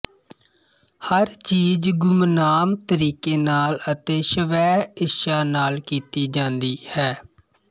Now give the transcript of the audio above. ਹਰ ਚੀਜ ਗੁਮਨਾਮ ਤਰੀਕੇ ਨਾਲ ਅਤੇ ਸਵੈਇੱਛਾ ਨਾਲ ਕੀਤੀ ਜਾਂਦੀ ਹੈ